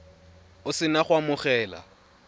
o se na go amogela